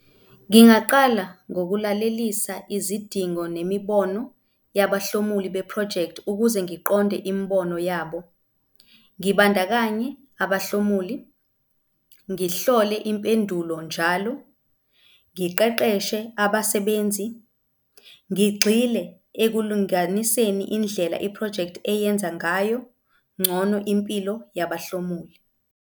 Ngingaqala ngokulalelisa izidingo nemibono yabahlomuli bephrojekthi ukuze ngiqonde imibono yabo, ngibandakanye abahlomuli, ngihlole impendulo njalo, ngiqeqeshe abasebenzi ngigxile ekulinganiseni indlela iphrojekthi eyenza ngayo ngcono impilo yabahlomuli.